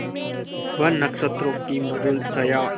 वह नक्षत्रों की मधुर छाया